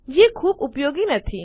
જે ખૂબ ઉપયોગી નથી